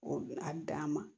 O a dan ma